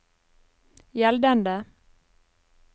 gjeldende